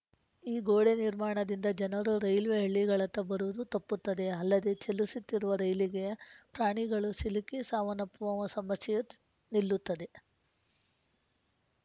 ಈ ಗೋಡೆ ನಿರ್ಮಾಣದಿಂದ ಜನರು ರೈಲ್ವೆ ಹಳಿಗಳತ್ತ ಬರುವುದು ತಪ್ಪುತ್ತದೆ ಅಲ್ಲದೆ ಚಲಿಸುತ್ತಿರುವ ರೈಲಿಗೆ ಪ್ರಾಣಿಗಳು ಸಿಲುಕಿ ಸಾವನ್ನಪ್ಪುವ ಸಮಸ್ಯೆಯೆ ನಿಲ್ಲುತ್ತದೆ